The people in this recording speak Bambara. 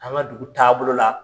An ka dugu taabolo bolo la,